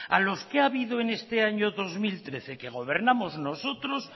a los que ha habido en este año dos mil trece que gobernamos nosotros